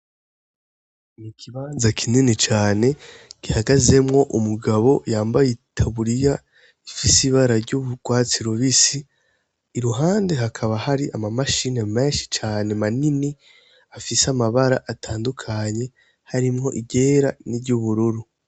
Ni ikibanza kinini cane gihagazemwo umugabo yambaye itaburiya ifise ibara ry'urwatsi rubisi iruhande hakaba hari ama mashine menshi cane manini afise amabara atandukanye harimwo iryera n'iryubururu.